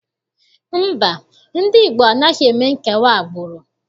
Mba, ndị Igbo anaghị eme nkewa agbụrụ.